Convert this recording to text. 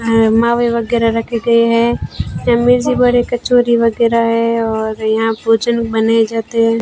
आ मावे वगैरा रखे गए हैं बड़े कचोरी वगैरा है और यहां भोजन बने जाते हैं।